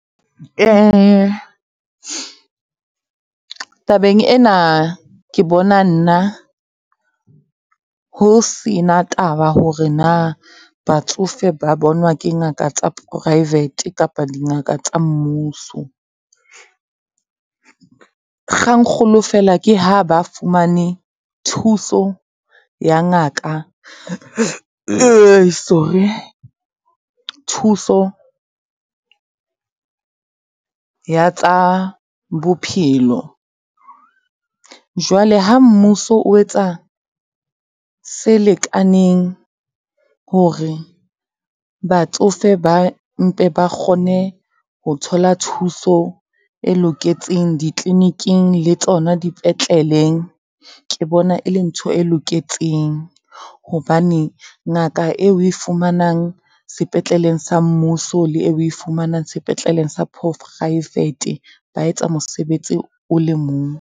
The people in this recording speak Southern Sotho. Tabeng ena, ke bona nna ho sena taba hore na batsofe ba bonwa ke ngaka tsa poraefete kapa dingaka tsa mmuso. Kgang kgolo fela, ke ha ba fumane thuso ya ngaka, thuso ya tsa bophelo. Jwale ha mmuso o etsa se lekaneng hore batsofe ba mpe ba kgone ho thola thuso e loketseng di tleliniking le tsona dipetleleng, ke bona e le ntho e loketseng. Hobane ngaka eo o e fumanang sepetleleng sa mmuso le eo o e fumanang sepetleleng sa poraefete, ba etsa mosebetsi o le mong.